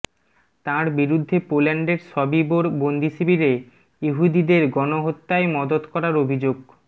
তাঁর বিরুদ্ধে পোল্যান্ডের সবিবোর বন্দিশিবিরে ইহুদিদের গণহত্যায় মদত করার অভিযোগ